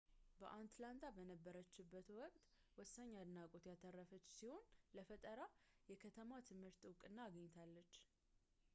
በአትላንታ በነበረችበት ወቅት ወሳኝ አድናቆት ያተረፈች ሲሆን ለፈጠራ የከተማ ትምህርትም እውቅና አገኘች